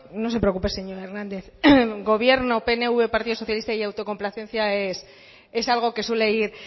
no se preocupe señor hernández gobierno pnv partido socialista y autocomplacencia es algo que suele ir